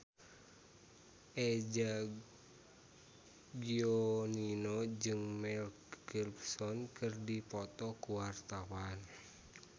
Eza Gionino jeung Mel Gibson keur dipoto ku wartawan